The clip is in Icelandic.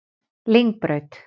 Lyngbraut